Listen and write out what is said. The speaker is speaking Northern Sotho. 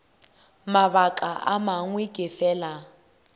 mabaka a mangwe ke fela